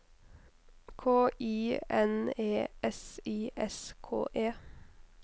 K I N E S I S K E